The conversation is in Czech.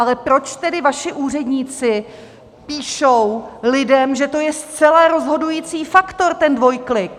Ale proč tedy vaši úředníci píšou lidem, že to je zcela rozhodující faktor, ten dvojklik?